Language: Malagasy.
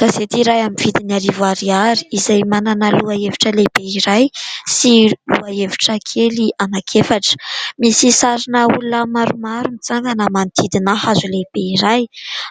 Gazety iray amin'ny vidin'ny arivo ariary izay manana lohahevitra lehibe iray sy lohahevitra kely anankefatra, misy sarin'olona maromaro mitsangana manodidina hazo lehibe iray